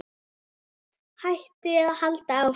Hætta eða halda áfram?